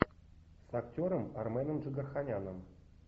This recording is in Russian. с актером арменом джигарханяном